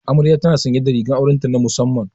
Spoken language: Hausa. Amarya tana sanye da rigar aure ta musamman.